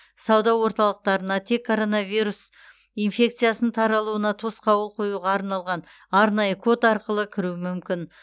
сауда орталықтарына тек коронавирус инфекциясын таралуына тосқауыл қоюға арналған арнайы код арқылы кіру мүмкін